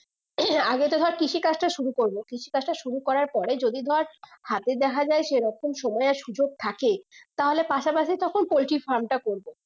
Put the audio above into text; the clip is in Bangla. আগে তো ধর কৃষি কাজ টা শুরু করবো কৃষি কাজটা শুরু করার পরে যদি ধর হাতে দেখা যাই সেই রকম সময় সুযোগ থাকে তাহলে পাশা পাশি তখন পোল্ট্রি farm টা করবো